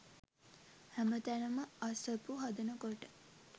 හැම තැනම අසපු හදනකොට